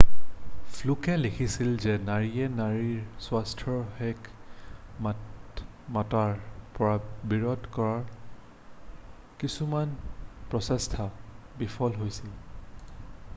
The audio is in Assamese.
ফ্লুকে লিখিছিল যে নাৰীয়ে নাৰীৰ স্বাস্থ্যৰ হকে মাত মতাৰ পৰা বিৰত কৰাৰ কিছুমানৰ প্ৰচেষ্টা বিফল হৈছিল